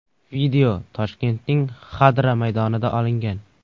Video Toshkentning Xadra maydonida olingan.